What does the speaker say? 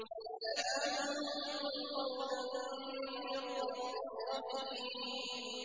سَلَامٌ قَوْلًا مِّن رَّبٍّ رَّحِيمٍ